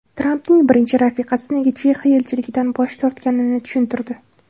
Trampning birinchi rafiqasi nega Chexiya elchiligidan bosh tortganini tushuntirdi.